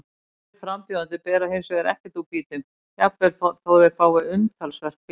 Aðrir frambjóðendur bera hins vegar ekkert úr býtum, jafnvel þótt þeir fái umtalsvert fylgi.